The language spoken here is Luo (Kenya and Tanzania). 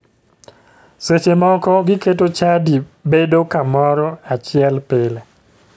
Seche moko giketo chadi bedo kamoro achiel pile.